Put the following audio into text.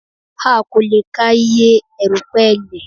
A kò lè ka iye erùpẹ̀ ilẹ̀